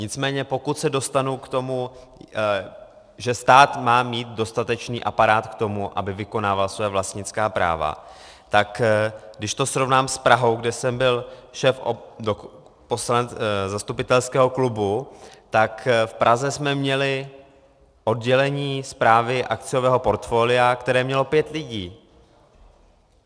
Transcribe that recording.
Nicméně pokud se dostanu k tomu, že stát má mít dostatečný aparát k tomu, aby vykonával svá vlastnická práva, tak když to srovnám s Prahou, kde jsem byl šéfem zastupitelského klubu, tak v Praze jsme měli oddělení správy akciového portfolia, které mělo pět lidí.